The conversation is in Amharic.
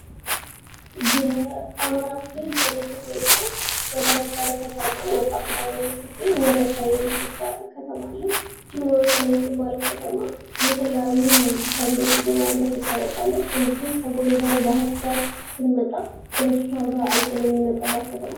የአማራ ክልል የምትገኘው በባህርዳር ከተማ ከፍ ብላ የምትገኝ ወረታ የምትባል ከተማ አለች ይችም ወረታ የምትባል ከተማ የተለያዩ ሰብሎች በማምረት ትታወቃለች እንድሁም ከጎንደር ባህርዳር ስንመጣ በሷ ጋር አልፈን የምንመጣባት ከተማ ናት